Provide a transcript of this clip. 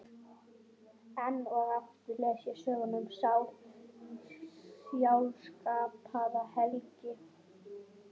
Enn og aftur les ég söguna um Sál, sjálfskapaða helgi